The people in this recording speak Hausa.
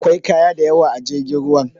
Akwai kaya dayawa a jirgin ruwan